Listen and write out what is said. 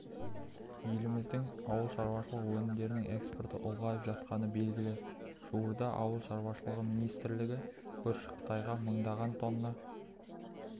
еліміздің ауыл шаруашылығы өнімдерінің экспорты ұлғайып жатқаны белгілі жуырда ауыл шаруашылығы министрлігі көрші қытайға мыңдаған тонна